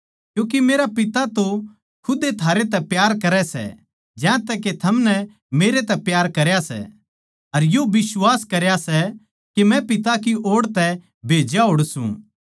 क्यूँके मेरा पिता तो खुदे थारैतै प्यार करै सै ज्यांतै के थमनै मेरतै प्यार करया सै अर यो बिश्वास करया सै के मै पिता की ओड़ तै भेज्या होड़ सूं